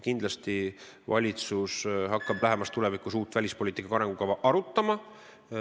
Kindlasti hakkab valitsus lähemas tulevikus uut välispoliitika arengukava arutama.